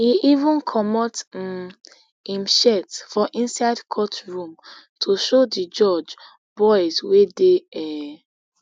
e evencomot um im shirt for inside courtroomto show di judge boils wey dey um